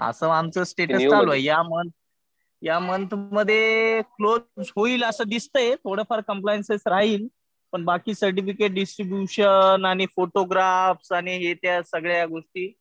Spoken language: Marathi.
असं आमचं स्टेटस चालू आहे. या मन्थ मध्ये क्लोज होईल असं दिसतंय. थोडंफार कम्प्लायन्सेस राहील. पण बाकी सर्टिफिकेट डिस्ट्रिब्युशन आणि फोटोग्राफ आणि ह्या त्या सगळ्या गोष्टी